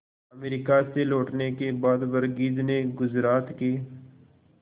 America से लौटने के बाद वर्गीज ने गुजरात के